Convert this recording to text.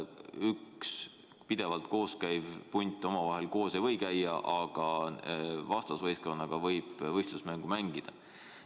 Üks pidevalt koos käiv punt omavahel koos ei või käia, aga vastasvõistkonnaga võib võistlusmängu mängida.